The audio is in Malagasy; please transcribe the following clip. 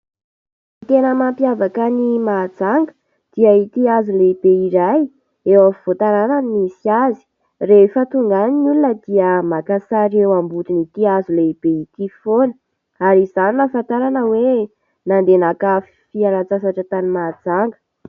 Ny tena mampiavaka ny Mahajanga dia ity hazo lehibe iray eo afovoan-tananany misy azy, rehefa tonga any ny olona dia maka sary eo ambodiny'ity hazo lehibe ity foana ary izany no ahafantarana hoe nande naka fialan-tsasatra tany Mahajanga.